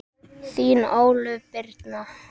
Þín Ólöf Birna.